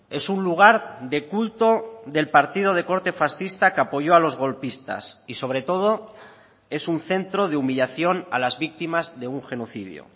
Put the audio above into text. es un lugar de culto del partido de corte fascista que apoyo a los golpistas y sobre todo es un centro de humillación a las víctimas de un genocidio